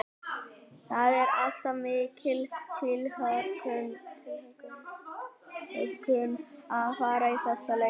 Það er alltaf mikil tilhlökkun að fara í þessa leiki.